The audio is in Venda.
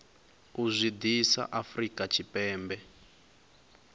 u zwi ḓisa afrika tshipembe